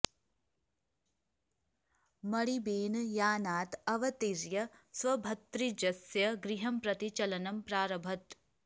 मणिबेन यानात् अवतीर्य स्वभ्रातृजस्य गृहं प्रति चलनं प्रारभत